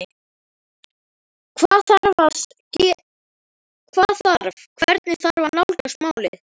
Hvað þarf að, hvernig þarf að nálgast málið?